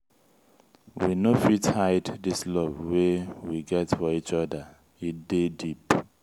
we no fit hide dis love wey we get for each oda e dey deep.